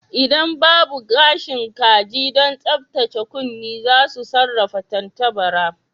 Idan babu gashin kaji don tsaftace kunne za mu sarrafa tantabara